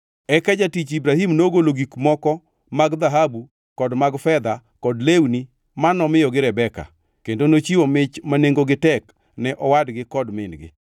Eka jatich Ibrahim nogolo gik moko mag dhahabu kod mag fedha kod lewni mi nomiyogi Rebeka; kendo nochiwo mich ma nengogi tek ne owadgi kod min-gi.